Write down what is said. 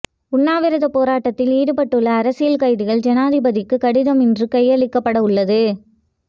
உண்ணாவிரதப் போராட்டத்தில் ஈடுபட்டுள்ள அரசியல் கைதிகள் ஜனாதிபதிக்கு கடிதம் இன்று கையளிக்கப்படவுள்ளது